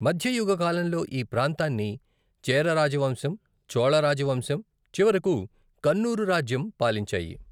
మధ్యయుగ కాలంలో ఈ ప్రాంతాన్ని చేర రాజవంశం, చోళ రాజవంశం, చివరకు కన్నూరు రాజ్యం పాలించాయి.